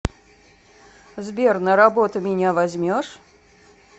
сбер на работу меня возьмешь